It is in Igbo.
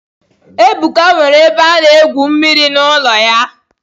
Ebuka nwere ebe ana egwu mmiri n'ụlọ ya.